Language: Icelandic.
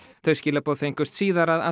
þau skilaboð fengust síðar að